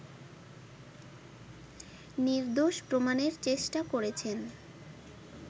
নির্দোষ প্রমাণের চেষ্টা করেছেন